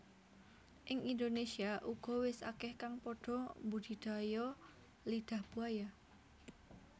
Ing Indonésia uga wis akeh kang padha mbudidaya Lidah Buaya